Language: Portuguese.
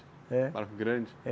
É. Um barco grande? É.